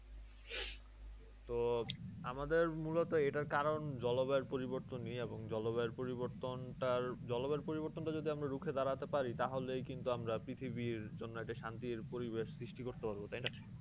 তো আমাদের মূলত এটার কারণ জলবায়ু পরিবর্তনেই এবং জলবায়ু পরিবর্তন টার জলবায়ু পরিবর্তনটা যদি আমরা রুখে দাড়াতে পারি তাহলে কিন্তু আমরা পৃথিবীর জন্য একটা শান্তির পরিবেশ সৃষ্টি করতে পারব। তাই না?